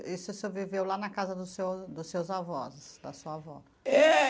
Isso o senhor viveu lá na casa dos seu dos seus avós, da sua avó? É.